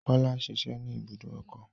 Kọ́lá ń ṣiṣẹ́ ní ibùdó ọkọ̀.